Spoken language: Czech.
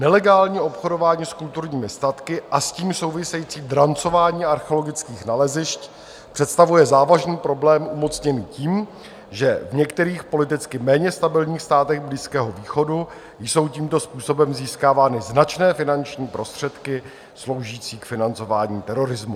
Nelegální obchodování s kulturními statky a s tím související drancování archeologických nalezišť představuje závažný problém umocněný tím, že v některých politicky méně stabilních státech Blízkého východu jsou tímto způsobem získávány značné finanční prostředky sloužící k financování terorismu.